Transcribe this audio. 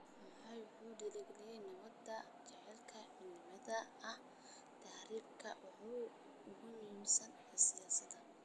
Moi wuxuu dhiirigeliyay nabadda, jacaylka, iyo midnimada oo ah tiirarka ugu muhiimsan ee siyaasaddiisa.